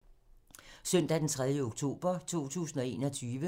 Søndag d. 3. oktober 2021